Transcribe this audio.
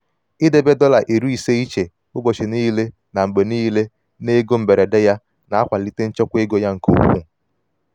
idobe dọla iri ise iche ụbọchị niile na mgbe niile n'ego mberede ya na-akwalite mberede ya na-akwalite nchekwa ego ya nke ukwuu.